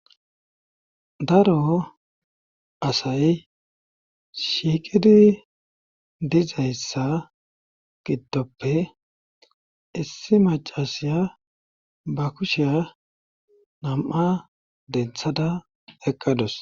Daro asay shiiqidi dizayssa giddoppe issi macasiya ba kusheya nam"a denthada eqqadus.